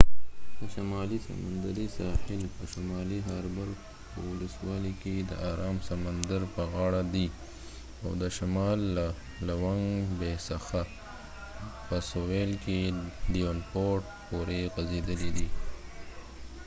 د شمالي سمندری ساحل په شمالي هاربر ولسوالۍ کې د آرام سمندر په غاړه دي او د شمال له لونګ بي څخه په سویل کې ډیونپورټ پورې غځیدلی دی۔